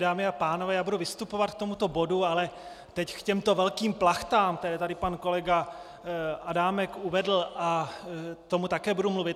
Dámy a pánové, já budu vystupovat k tomuto bodu, ale teď k těmto velkým plachtám, které tady pan kolega Adámek uvedl, k tomu také budu mluvit.